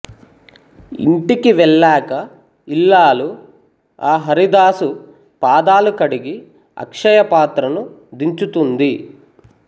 ఇంటికి వెళ్ళాక ఇల్లాలు ఆ హరిదాసు పాదాలు కడిగి అక్షయపాత్రను దించుతుంది